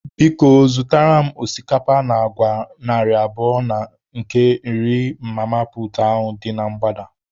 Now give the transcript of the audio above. Biko, zụtara m osikapa na agwa narị abụọ na nke nri mama puutu dị na mgbada.